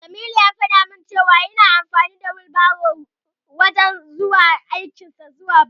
Jamilu ya faɗa min cewa yana amfani da wilbaro wajen ɗaukan kayan gininsa zuwa aiki.